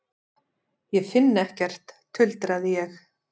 Ég finn ekkert, tuldraði ég.